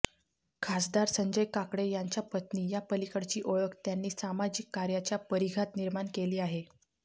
खासदार संजय काकडे यांच्या पत्नी या पलीकडची ओळख त्यांनी सामाजिक कार्याच्या परिघात निर्माण केली आहे